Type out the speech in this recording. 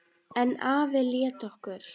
En afi lét okkur